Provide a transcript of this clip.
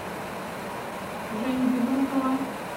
женю безрукова